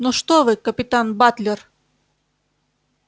ну что вы капитан батлер